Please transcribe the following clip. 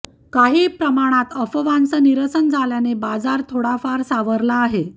काही प्रमाणात अफवांचं निरसन झाल्यानं बाजार थोडाफार सावरला आहे